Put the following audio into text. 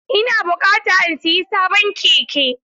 Ina buƙata in sayi sabon keke..